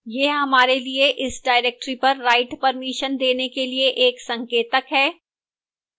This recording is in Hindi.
यह हमारे लिए इस directory पर write permission देने के लिए एक संकेतक है